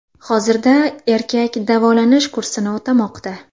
Hozirda erkak davolanish kursini o‘tamoqda.